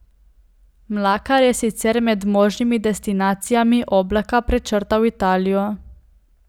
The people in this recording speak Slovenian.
Mlakar je sicer med možnimi destinacijami Oblaka prečrtal Italijo.